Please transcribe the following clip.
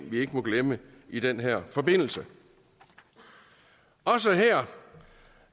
vi ikke må glemme i den her forbindelse også her